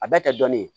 A bɛɛ tɛ dɔnni ye